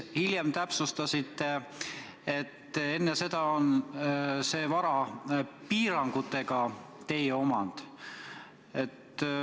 Hiljem täpsustasite, et enne seda on see vara piirangutega teie omand.